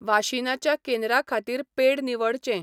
वाशिनाच्या केंद्रा खातीर पेड निवडचें.